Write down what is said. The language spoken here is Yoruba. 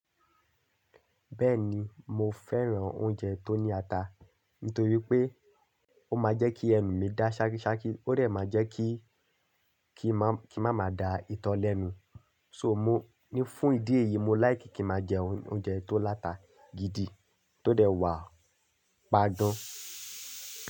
Bẹ́ẹ̀ni mo fẹ́ràn oúnjẹ tó ní ata, nítorí pé ó máa jẹ́ kí ẹ̀mí mi dá ṣákiṣáki, ó rẹ̀ máa jẹ́ kí, kí n má, kí n má ma da ìtọ́ lẹ́nu. So mo ní fún ìdí èyí mo láì kí kí má jẹ oúnjẹ tó láta gidi tó dẹ̀ wà pagán.